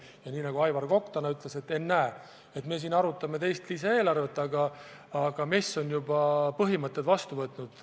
Ja nii nagu Aivar Kokk täna ütles, et ennäe, me siin arutame teist lisaeelarvet, aga MES on juba põhimõtted vastu võtnud.